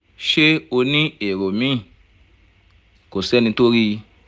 ṣé o ní èrò míì? kò sẹ́ni tó rí i